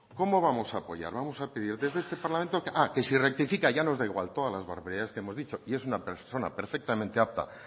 cómo vamos a apoyar cómo vamos a pedir desde este parlamento que si rectifica ya nos da igual todas las barbaridades que ha dicho y es una persona perfectamente apta